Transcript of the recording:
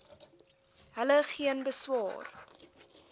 hulle geen beswaar